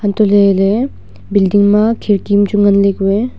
antohley ley building ma khirki am chu nganle ku eh.